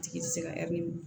Tigi ti se ka